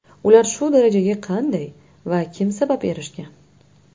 Ular shu darajaga qanday va kim sabab erishgan?.